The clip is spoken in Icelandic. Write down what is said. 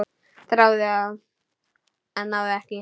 Þráði það, en náði ekki.